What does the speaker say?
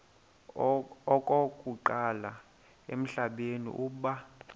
okokuqala emhlabeni uba